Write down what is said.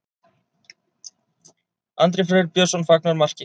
Andri Freyr Björnsson fagnar marki.